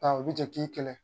u bɛ jate k'i kɛlɛ